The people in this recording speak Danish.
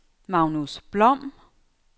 Magnus Blom